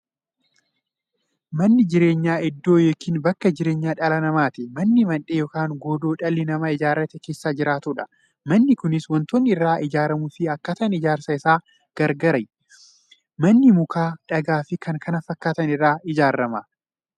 Manni jireenyaa iddoo yookiin bakka jireenya dhala namaati. Manni Mandhee yookiin godoo dhalli namaa ijaarratee keessa jiraatudha. Manni Kunis waantootni irraa ijaaramuufi akkaataan ijaarsa isaa gargar. Manni muka, dhagaafi kan kana fakkaatan irraa ijaarama.